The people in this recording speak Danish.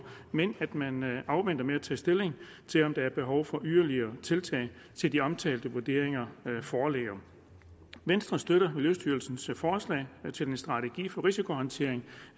men at man afventer med at tage stilling til om der er behov for yderligere tiltag til de omtalte vurderinger foreligger venstre støtter miljøstyrelsens forslag til en strategi for risikohåndtering